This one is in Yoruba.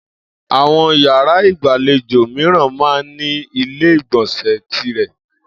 Àwo̩n yàrá ìgbàlejò mìiràn máa ń ní ilé ìgbò̩nsè̩ tirè̩